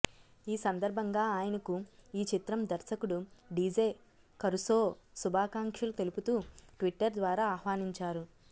ఈ సందర్భంగా ఆయనకు ఈ చిత్రం దర్శకుడు డీజే కరుసో శుభాకాంక్షలు తెలుపుతూ ట్విట్టర్ ద్వారా ఆహ్వానించారు